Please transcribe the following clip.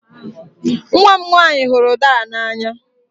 Nwa m nwanyị hụrụ udara n'anya.